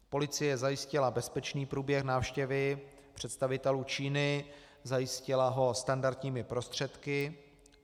Policie zajistila bezpečný průběh návštěvy představitelů Číny, zajistila ho standardními prostředky.